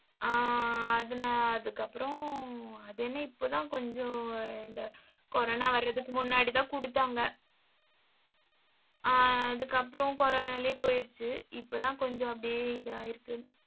ஆஹ் அதனால அதுக்கப்புறம், அதென்ன இப்பதான் கொஞ்சம் இந்த corona வர்றதுக்கு முன்னாடிதான் குடுத்தாங்க. ஆஹ் அதுக்கப்புறம் corona லயே போயிருச்சு. இப்பதான் கொஞ்சம் அப்படியே இதாயிருக்கு